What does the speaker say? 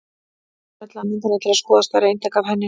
Smellið á myndina til að skoða stærra eintak af henni.